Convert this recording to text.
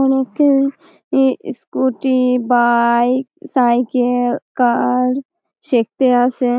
অনেকেই ই scooty bike cycle car শিখতে আসে--